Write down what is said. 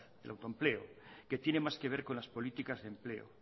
el autoempleo que tiene más que ver con las políticas de empleo